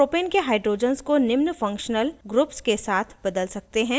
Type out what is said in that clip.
हम propane के hydrogens को निम्न functional ग्रुप्स के साथ बदल सकते हैं: